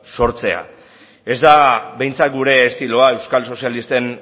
sortzea ez da behintzat gure estiloa euskal sozialisten